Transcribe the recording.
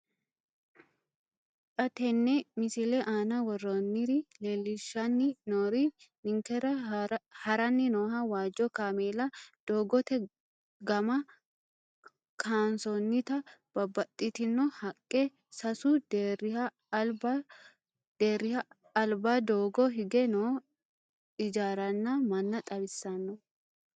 Xa tenne missile aana worroonniri leellishshanni noori ninkera haranni nooha waajjo kaameela, doogote gama kaansoonnita babbaxxitino haqqe, sasu deerriha alba doogo hige noo ijaaranna manna xawissanno.